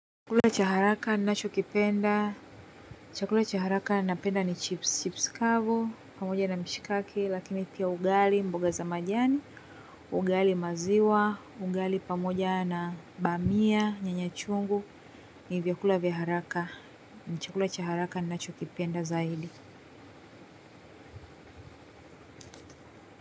Chakula cha haraka nacho kipenda chakula cha haraka na penda ni chips, chips kavu, pamoja na mshikaki, lakini pia ugali mboga za majani ugali maziwa, ugali pamoja na bamia, nyanya chungu ni vyakula vya haraka, ni chakula cha nachokipenda zaidi.